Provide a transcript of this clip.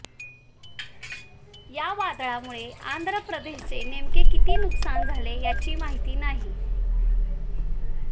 या वादळामुळे आंध्र प्रदेशचे नेमके किती नुकसान झाले याची माहिती नाही